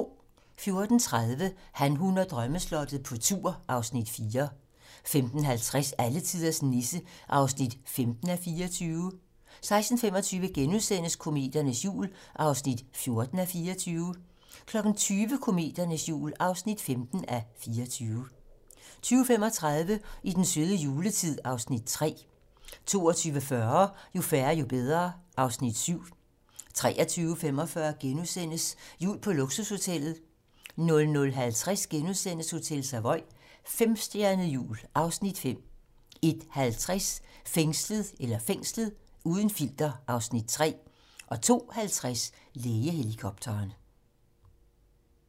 14:30: Han, hun og drømmeslottet - på tur (Afs. 4) 15:50: Alletiders Nisse (15:24) 16:25: Kometernes jul (14:24)* 20:00: Kometernes jul (15:24) 20:35: I den søde juletid (Afs. 3) 22:40: Jo færre, jo bedre (Afs. 7) 23:45: Jul på luksushotellet * 00:50: Hotel Savoy - femstjernet jul (Afs. 5)* 01:50: Fængslet - uden filter (Afs. 3) 02:50: Lægehelikopteren